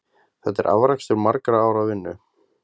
Þetta er afrakstur margra ára vinnu?